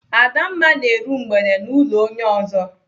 Adamma na-eru mgbede n'ụlọ onye ọzọ.